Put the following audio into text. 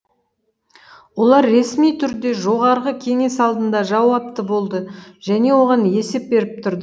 олар ресми түрде жоғарғы кеңес алдында жауапты болды және оған есеп беріп тұрды